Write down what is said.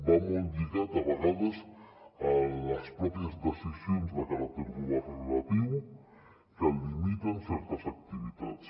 va molt lligat a vegades a les mateixes decisions de caràcter governatiu que limiten certes activitats